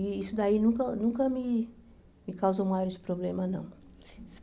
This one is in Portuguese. E isso daí nunca nunca me me causou maiores problemas, não.